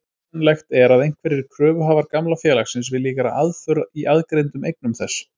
Hugsanlegt er að einhverjir kröfuhafar gamla félagsins vilji gera aðför í aðgreindum eignum þess.